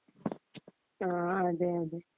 ങാ അതേ അതേ